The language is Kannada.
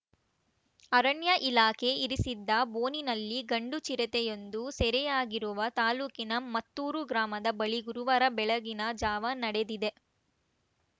ಅರಣ್ಯ ಇಲಾಖೆ ಇರಿಸಿದ್ದ ಬೋನಿನಲ್ಲಿ ಗಂಡು ಚಿರತೆಯೊಂದು ಸೆರೆಯಾಗಿರುವ ತಾಲೂಕಿನ ಮತ್ತೂರು ಗ್ರಾಮದ ಬಳಿ ಗುರುವಾರ ಬೆಳಗಿನ ಜಾವ ನಡೆದಿದೆ